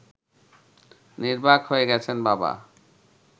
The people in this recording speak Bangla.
নির্বাক হয়ে গেছেন বাবা